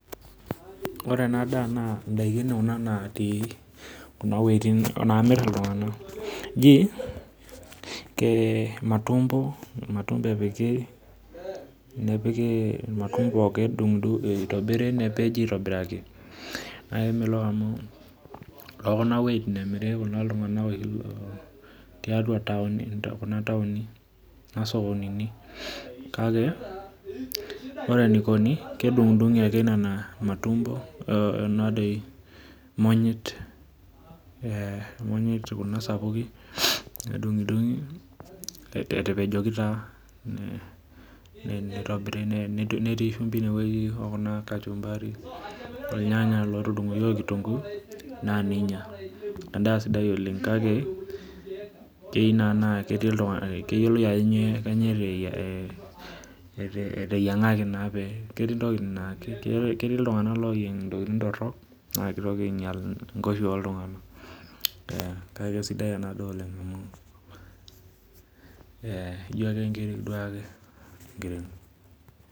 Ore ena daa naa ndaiki kuna naamirr iltung'ana jii matumbo epiki paa kedung'idung'i nepeji aaitobiraki, naa kemekok amu tekuna wuejitin emiri, te kuna townini ashuu sokonini aa ore enaikoni naa kedung'idung'i ake nena monyit, kuna sapukin etapejoki taa, netii shimbi ine wueji I kachumbari irnyanya oonkitunguu nadung'udung'o naa ninya endaa sidai oleng kake eyieu naa neiyiolou ajo kainyio eteyiang'aki amuu ketii naitamuoi nkoshuaa oo ltung'anak kake keisidai ena daa oleng ijo ake nkiri.